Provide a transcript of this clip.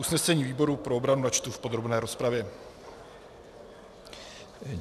Usnesení výboru pro obranu načtu v podrobné rozpravě.